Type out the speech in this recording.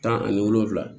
Tan ani wolonfila